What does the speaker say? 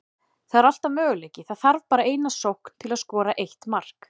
Það er alltaf möguleiki, það þarf bara eina sókn til að skora eitt mark.